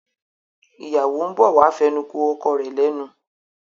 ìyáwó ń bọ̀ wá fẹnukò ọkọ rẹ̀ lẹ́nu.